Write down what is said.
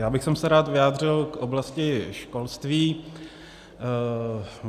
Já bych se rád vyjádřil k oblasti školství.